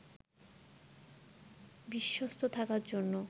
বিশ্বস্ত থাকার জন্য